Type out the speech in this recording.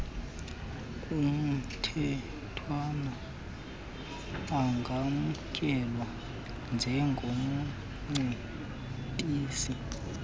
kumthethwana angamkelwa njengomcebisi